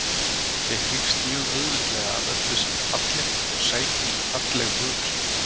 Ég hrífst mjög auðveldlega af öllu sem er fallegt og sæki í falleg hughrif.